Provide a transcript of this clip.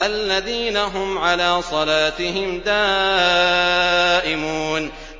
الَّذِينَ هُمْ عَلَىٰ صَلَاتِهِمْ دَائِمُونَ